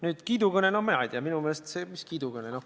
Nüüd kiidukõne – no mina ei tea, mis kiidukõne.